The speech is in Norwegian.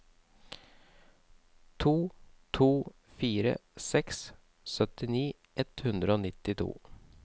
to to fire seks syttini ett hundre og nittito